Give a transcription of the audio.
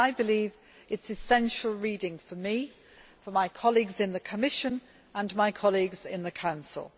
I believe it is essential reading for me, my colleagues in the Commission and my colleagues in the Council.